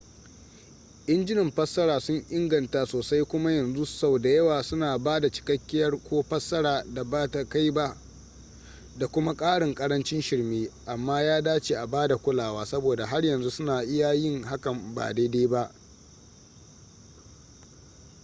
injunan fassara sun inganta sosai kuma yanzu sau da yawa suna ba da cikakkiyar ko fassara da ba ta kai ba da kuma ƙarin ƙarancin shirme amma ya dace a bada kulawa saboda har yanzu suna iya yin hakan ba daidai ba